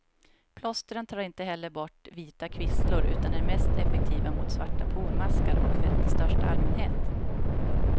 Plåstren tar inte heller bort vita kvisslor, utan är mest effektiva mot svarta pormaskar och fett i största allmänhet.